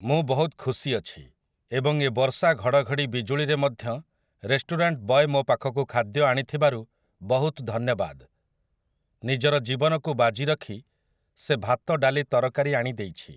ମୁଁ ବହୁତ ଖୁସି ଅଛି ଏବଂ ଏ ବର୍ଷା ଘଡ଼ଘଡ଼ି ବିଜୁଳିରେ ମଧ୍ୟ ରେଷ୍ଟୁରାଣ୍ଟ ବଏ ମୋ ପାଖକୁ ଖାଦ୍ୟ ଆଣିଥିବାରୁ ବହୁତ ଧନ୍ୟବାଦ । ନିଜର ଜୀବନକୁ ବାଜି ରଖି ସେ ଭାତ ଡାଲି ତରକାରୀ ଆଣି ଦେଇଛି ।